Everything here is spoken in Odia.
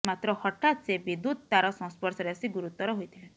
ମାତ୍ର ହଠାତ୍ ସେ ବିଦ୍ୟୁତ୍ ତାର ସଂସ୍ପର୍ଶରେ ଆସି ଗୁରୁତର ହୋଇଥିଲେ